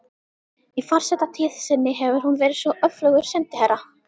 Í forsetatíð sinni hefur hún verið svo öflugur sendiherra